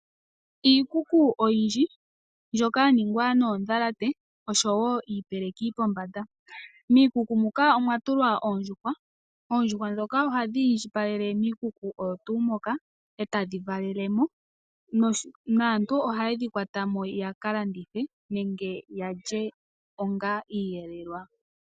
Iikuku oyindji mbyoka ya ningwa noondhalate osho woo iipeleki pombanda. Miikuku muka omwatulwa oondjuhwa. Oondjuhwa ndhoka ohadhi indjipaleke miikuku oyo tuu mbyoka. Etadhi valelemo naantu ohaye dhi kwatamo ya ka landithe nenge yalye onga iiyelelwa.